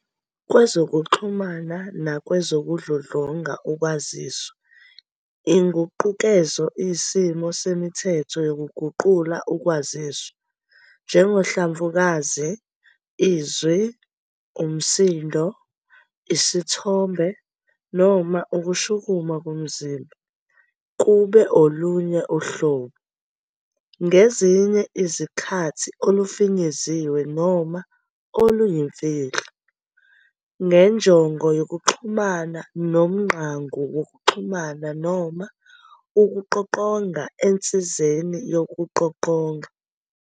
Kwezokuxhumana nakwezokudludlunga ukwaziswa, inguqukezo iyisimiso semithetho yokuguqula ukwaziswa - njengohlamvukazi, izwi, umsindo, isithombe, noma ukushukuma komzimba - kube olunye uhlobo, ngezinye izikhathi olufinyeziwe noma oluyimfihlo, njenjongo yokuxhumana ngomngqangu wokuxhumana noma ukuqoqonga ensizeni yokuqoqonga.